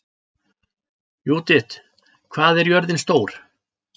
Júdit, hvað er jörðin stór?